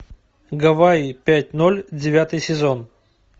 гавайи пять ноль девятый сезон